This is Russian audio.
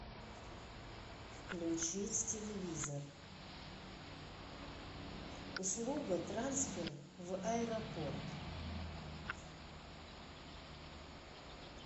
включить телевизор услуга трансфер в аэропорт